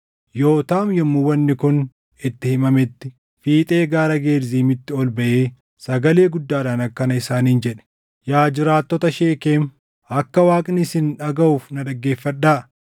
Yootaam yommuu wanni kun itti himametti fiixee Gaara Gerziimitti ol baʼee sagalee guddaadhaan akkana isaaniin jedhe; “Yaa jiraattota Sheekem, akka Waaqni isin dhagaʼuuf na dhaggeeffadhaa.